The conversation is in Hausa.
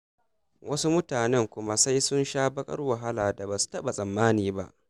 Wasu mutanen kuma sai sun sha baƙar wahalar da ba su taɓa tsammani ba.